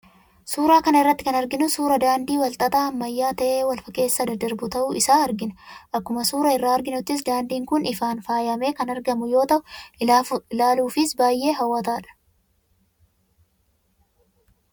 Suuraa kana irratti kan arginu suuraa daandii wal xaxaa ammayyaa ta'ee wal keessa daddarbu ta'uu isaa argina. Akkuma suuraa irraa arginuttis daandiin kun ifaan faayamee kan argamu yoo ta'u, ilaaluufis baay'ee hawwataadha.